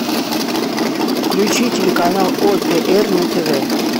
включи телеканал отр на тв